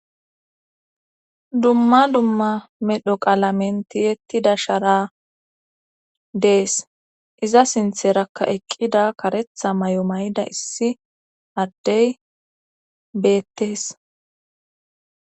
dumma dumma medho qalamen tiyettida shara dees iza sintherakka eqqida karetha may7o may7da issi addey beettes